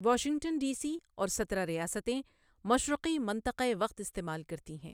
Washington D C اور سترہ ریاستیں مشرقی منطقۂ وقت استعمال کرتی ہیں۔